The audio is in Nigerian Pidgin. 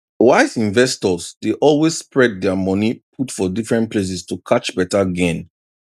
wise investors dey always spread their money put for different places to catch better gain